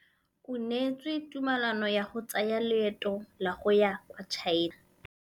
O neetswe tumalanô ya go tsaya loetô la go ya kwa China.